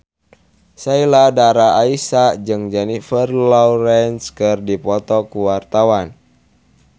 Sheila Dara Aisha jeung Jennifer Lawrence keur dipoto ku wartawan